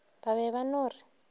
ba be ba no re